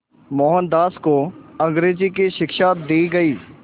मोहनदास को अंग्रेज़ी की शिक्षा दी गई